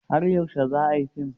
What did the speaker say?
Har yaushe za a yi fim?